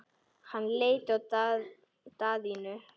Hann leit á Daðínu.